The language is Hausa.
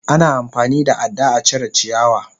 Ana amfani da ada a cire ciyawa.